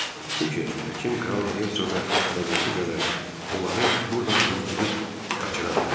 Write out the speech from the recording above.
Çünki həkim Kralla Hesoqa hələ qorxu gələrək onları burdan hürküdüüb qaçıra bilərdi.